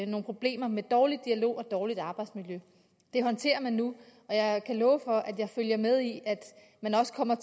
nogle problemer med dårlig dialog og dårligt arbejdsmiljø det håndterer man nu og jeg kan love for at jeg følger med i at man også kommer